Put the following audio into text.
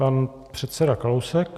Pan předseda Kalousek.